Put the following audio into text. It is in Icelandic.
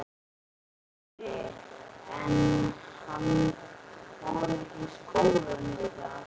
Andri: En hann fór ekki í skólann í dag?